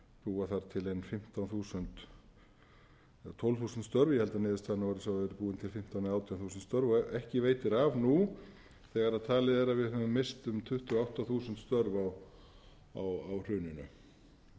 búa þar til ein fimmtán þúsund eða tólf þúsund störf ég held að niðurstaðan hafi orðið sú að það hafi verið búin til fimmtán eða átján þúsund störf ekki veitir af nú þegar talið er að við höfum misst um tuttugu og átta þúsund störf á hruninu